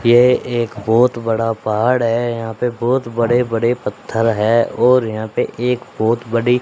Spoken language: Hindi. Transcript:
यह एक बहुत बड़ा पहाड़ है यहां पे बहुत बड़े बड़े पत्थर है और यहां पे एक बहुत बड़ी--